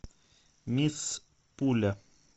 мисс пуля